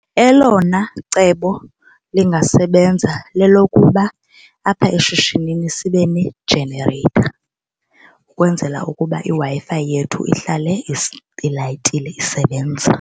Elona cebo lingasebenza lelokuba apha eshishinini sibe nejenereyitha ukwenzela ukuba iWi-Fi yethu ihlale ilayitile, isebenza.